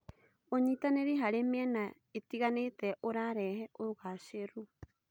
ũnyitanĩri harĩ mĩena ĩtiganĩte ũrarehe ũgacĩĩru.